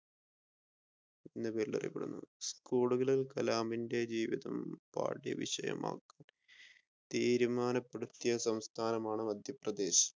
school കളിൽ കലാമിന്റെ ജീവിതം പാഠ്യ വിഷയമാണ് തിരുമാനപെടുത്തിയ സംസ്ഥാനമാണ് മധ്യ പ്രദേശ്.